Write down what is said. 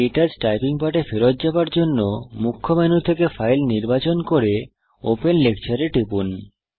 কে touch typing পাঠে ফেরত যাওয়ার জন্য মুখ্য মেনু থেকে ফাইল নির্বাচন করে ওপেন লেকচার এ টিপুন